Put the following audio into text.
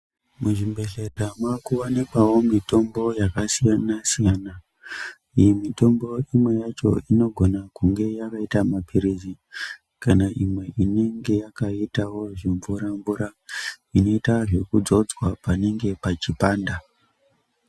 Muzvibhedhlera makuwanikwawo mitombo yakasiyana siyana iyi mitombo imweni yacho inogona yakaita mapirizi kana imwe inenge yakaitawo zvimvura mvura zvinoita zvekudzodzwa panenge pachipanda.